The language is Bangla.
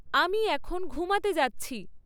আমি এখন ঘুমাতে যাচ্ছি